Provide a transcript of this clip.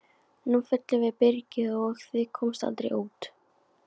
Nú fyllum við byrgið og þið komist aldrei út!